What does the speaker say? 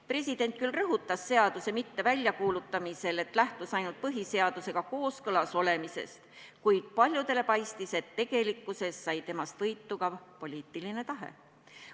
President küll rõhutas seaduse mitteväljakuulutamisel, et ta lähtus ainult põhiseadusega kooskõlas olemisest, kuid paljudele paistis, et tegelikult sai temas võitu ka poliitiline tahe.